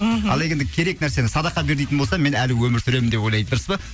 мхм ал егер де керек нәрсені садақа бер дейтін болса мен әлі өмір сүремін деп ойлайды дұрыс па